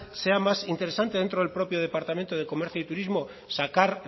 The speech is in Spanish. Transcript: sea más interesante dentro del propio departamento de comercio y turismo sacar